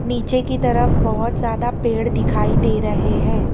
नीचे की तरफ बहोत ज्यादा पेड़ दिखाई दे रहे है।